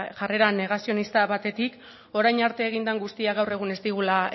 jarrera negazionista batetik orain arte egin den guztia gaur egun ez digula